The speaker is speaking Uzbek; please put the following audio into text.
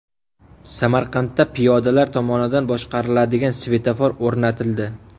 Samarqandda piyodalar tomonidan boshqariladigan svetofor o‘rnatildi.